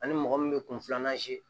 Ani mɔgɔ min bɛ kun filanan